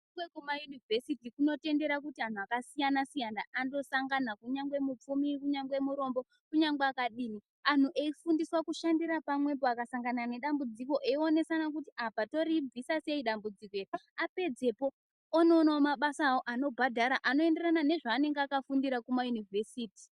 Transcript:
Mutemo wekuma university unotondera kuti antu akasiyana siyana andosangana kunyangwe mupfumi kunyange murombo kunyangwe akadini . Anhu eifundiswa kushandira pamwepo akasangana nedambudziko eionesana kuti apa toribvisa sei dambudziko iri apadzepo onoonawo mabasa awo anobhadhara anoenderana nezvaanenge akafundira kuma yunivesiti.